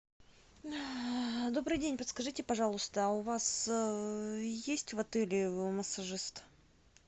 добрый день подскажите пожалуйста у вас есть в отеле массажист